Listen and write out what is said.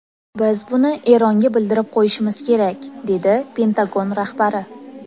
Biz buni Eronga bildirib qo‘yishimiz kerak”, dedi Pentagon rahbari.